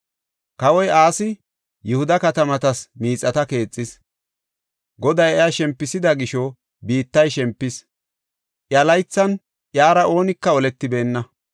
Kawoy Asi Yihuda katamatas miixata keexis. Goday iya shempisida gisho biittay shempis; iya laythan iyara oonika oletibeenna.